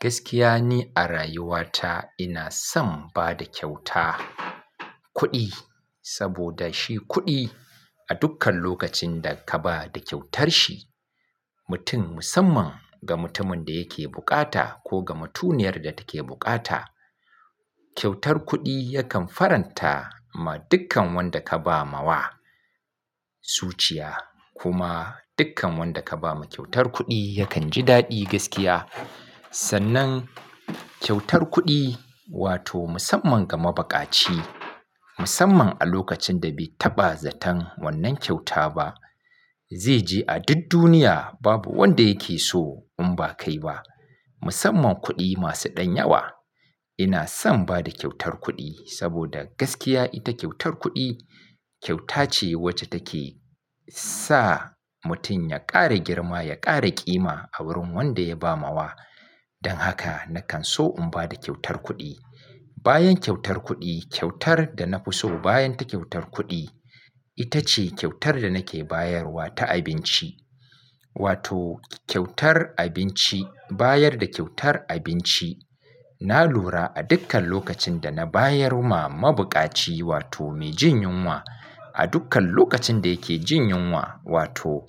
Gaskiya ni a rayuwa ta ina son bada kyauta kuɗi, saboda shi kuɗi a dukkan lokacin da ka ba da kyautar shi, mutum musamman ga mutumin da yake bukata ko ga mutuniyar da take bukata. Kyautar kuɗi yakan faranta ma dukkan wanda ka ba ma wa, zuciya kuma dukkan wanda ka ba ma kyautar kuɗi yakan ji daɗi gaskiya. Sannan kyautar kuɗi wato musamman ga mabukaci, musamman a lokacin da bai taɓa zaton wannan kyauta ba, zai je a duk duniya babu wanda yake so in ba kai ba. Musamman kuɗi masu ɗan yawa. Ina son bada kyautar kuɗi saboda gaskiya ita kyautar kuɗi kyauta ce wacce take sa mutum ya ƙara girma, ya ƙara ƙima a wurin wanda ya ba ma wa. Dan haka nakan so in bada kyautar kuɗi. Bayan kyautar kuɗi, kyautar da na fi so bayan ta kyautar kuɗi, ita ce kyautar da nake bayarwa ta abinci. Wato kyautar abinci, bayar da kyautar abinci. Na lura a dukkan lokacin da na bayar wa mabukaci wato mai jin yunwa, a dukkan lokacin da yake jin yunwa wato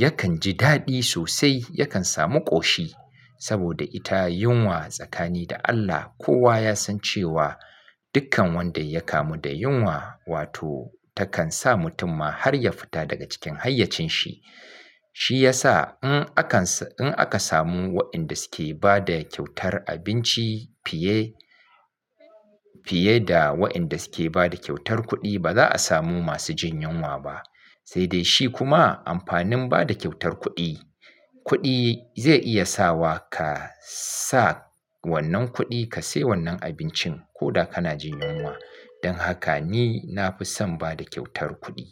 yakan ji daɗi sosai, yakan samu ƙoshi saboda ita yunwa tsakanin da Allah kowa ya san cewa dukkan wanda ya kamu da yunwa wato takan sa mutum ma har ya fita daga cikin hayyacin shi. Shi ya sa in aka samu waɗanda suke bada kyautar abinci fiye, fiye da waɗanda suke bada kyautar kuɗi ba za a samu masu jin yunwa ba. Sai dai shi kuma amfanin bada kyautar kuɗi, kuɗi zai iya sa wa ka sa wannan kuɗi ka sai wannan abincin ko da kana jin yunwa. Dan haka ni na fi son bada kyautar kuɗi.